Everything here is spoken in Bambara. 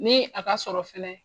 Ni a ka sɔrɔ fɛNɛ.